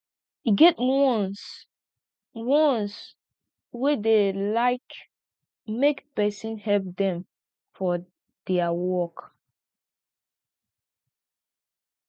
e get ones ones wey dey like make pesin help dem for dia work